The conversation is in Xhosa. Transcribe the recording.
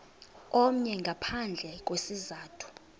omnye ngaphandle kwesizathu